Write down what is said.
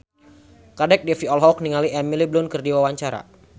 Kadek Devi olohok ningali Emily Blunt keur diwawancara